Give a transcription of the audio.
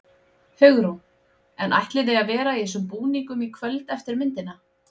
Hugrún: En ætlið þið að vera í þessum búningum í kvöld eftir myndina?